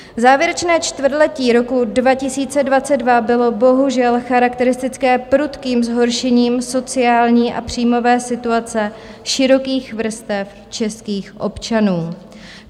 Závěrečné čtvrtletí roku 2022 bylo bohužel charakteristické prudkým zhoršením sociální a příjmové situace širokých vrstev českých občanů.